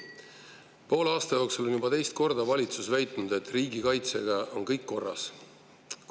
Poole aasta jooksul on valitsus juba teist korda väitnud, et riigikaitsega on kõik korras.